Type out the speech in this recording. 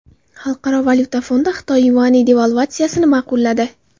Xalqaro valyuta fondi Xitoy yuani devalvatsiyasini ma’qulladi.